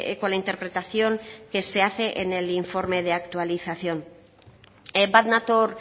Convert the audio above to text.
con la interpretación que se hace en el informe de actualización bat nator